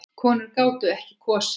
Konur gátu ekki kosið.